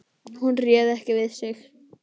Hún réði ekki við sig.